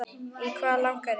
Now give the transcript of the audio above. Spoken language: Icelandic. Í hvað langar þig?